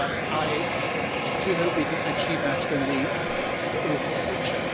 I do hope we can achieve that in the future.